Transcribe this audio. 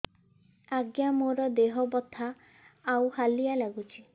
ଆଜ୍ଞା ମୋର ଦେହ ବଥା ଆଉ ହାଲିଆ ଲାଗୁଚି